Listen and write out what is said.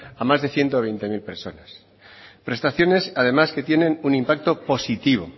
a más de ciento veinte mil personas prestaciones además que tienen un impacto positivo